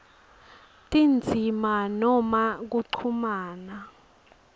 tindzima noma kuchumana